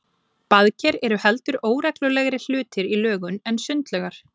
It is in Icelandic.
Baðker eru heldur óreglulegri hlutir í lögun en sundlaugar.